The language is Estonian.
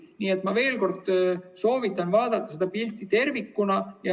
Nii et ma veel kord soovitan vaadata seda pilti tervikuna.